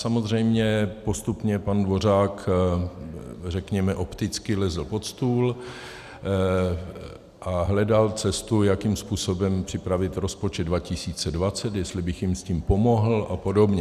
Samozřejmě postupně pan Dvořák řekněme opticky lezl pod stůl a hledal cestu, jakým způsobem připravit rozpočet 2020, jestli bych jim s tím pomohl a podobně.